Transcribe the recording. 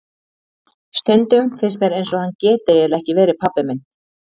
Stundum finnst mér eins og hann geti eiginlega ekki verið pabbi minn.